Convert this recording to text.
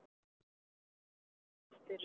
Svartsýnni spá en sú fyrri